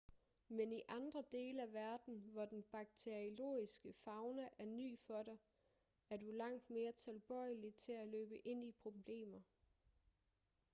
men i andre dele af verden hvor den bakteriologiske fauna er ny for dig er du langt mere tilbøjelig til at løbe ind i problemer